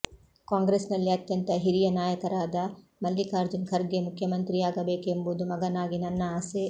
ಕಾಂಗ್ರೆಸ್ನಲ್ಲಿ ಅತ್ಯಂತ ಹಿರಿಯ ನಾಯಕರಾದ ಮಲ್ಲಿಕಾರ್ಜುನ್ ಖರ್ಗೆ ಮುಖ್ಯಮಂತ್ರಿಯಾಗಬೇಕೆಂಬುದು ಮಗನಾಗಿ ನನ್ನ ಆಸೆ